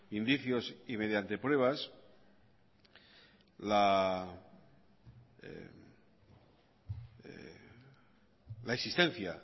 indicios y mediante pruebas la existencia